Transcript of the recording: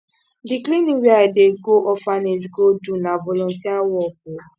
di cleaning wey i dey go orphanage go do na volunteer work o